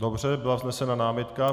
Dobře, byla vznesena námitka.